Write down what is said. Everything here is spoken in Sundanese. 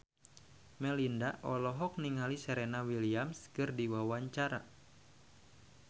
Melinda olohok ningali Serena Williams keur diwawancara